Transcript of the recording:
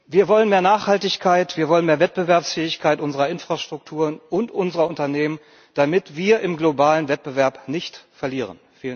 Wir wollen mehr Nachhaltigkeit, wir wollen mehr Wettbewerbsfähigkeit unserer Infrastrukturen und unserer Unternehmen, damit wir im globalen Wettbewerb nicht verlieren!